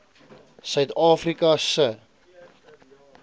suid afrika se